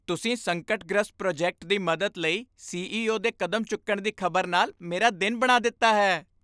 ਤੁਸੀਂ ਸੰਕਟਗ੍ਰਸਤ ਪ੍ਰੋਜੈਕਟ ਦੀ ਮਦਦ ਲਈ ਸੀ.ਈ.ਓ. ਦੇ ਕਦਮ ਚੁੱਕਣ ਦੀ ਖ਼ਬਰ ਨਾਲ ਮੇਰਾ ਦਿਨ ਬਣਾ ਦਿੱਤਾ ਹੈ!